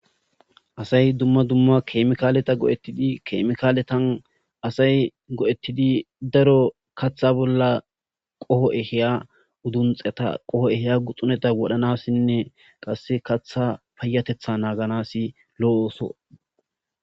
Asay duma duma chemikaleta go'tidi chemikaletan asay go'ettidi daro katha bolla qoho ehiya udunxxeta qoho ehiya guxxuneta wodhanasinne, qasse katha payatetha naaganasi lo'o ooso.